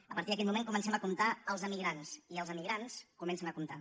a partir d’aquell moment comencem a comptar els emigrants i els emigrants comencen a comptar